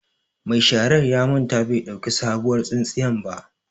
Ma sharar ya manta bai ɗauki sabuwar tsintsiyan ba.